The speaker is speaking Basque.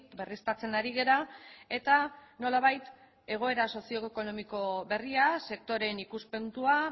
berriztatzen ari gara eta nolabait egoera sozioekonomiko berria sektoreen ikuspuntua